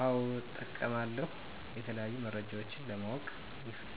አወ እጠቀማለሁ የተለያዩ መረጃወችን ለማወቅ